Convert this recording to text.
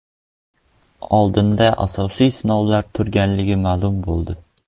Oldinda asosiy sinovlar turganligi ma’lum bo‘ldi.